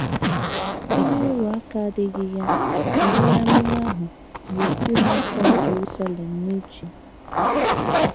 Ihe ịrụ ụka adịghị ya na onye amụma ahụ bu ụlọ nsọ Jerusalem n’uche.